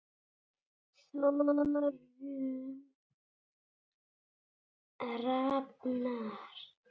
Þórunn Rafnar.